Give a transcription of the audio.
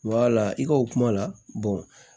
i ka o kuma la